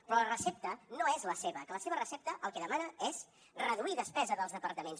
però la recepta no és la seva que la seva recepta el que demana és reduir despesa dels departaments